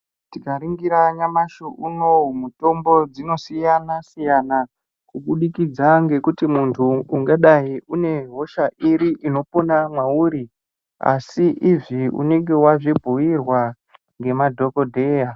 Tikaringira nyamashi unowu mutombo dzinosiyana siyana kubudikidza ngokutu muntu ungadai une hosha iri inopona mwauri asi izvi unenge wazvibhuyirwa ngemadhokodheya.